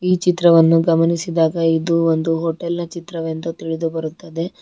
ಈ ಚಿತ್ರವನ್ನು ಗಮನಿಸಿದಾಗ ಇದು ಒಂದು ಹೋಟೆಲ್ ನ ಚಿತ್ರವೆಂದು ತಿಳಿದು ಬರುತ್ತದೆ.